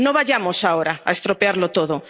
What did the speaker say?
No vayamos ahora a estropearlo todo.